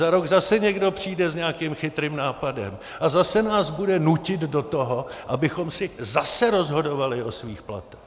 Za rok zase někdo přijde s nějakým chytrým nápadem a zase nás bude nutit do toho, abychom si zase rozhodovali o svých platech.